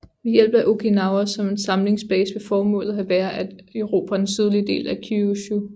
Ved hjælp af Okinawa som en samlingsbase ville formålet have været at erobre den sydlige del af Kyūshū